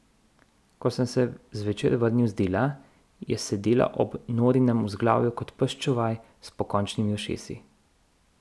Ko sem se zvečer vrnil z dela, je sedela ob Norinem vzglavju kot pes čuvaj s pokončnimi ušesi.